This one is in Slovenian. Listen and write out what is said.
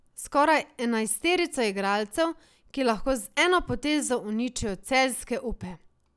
Skoraj enajsterico igralcev, ki lahko z eno potezo uničijo celjske upe.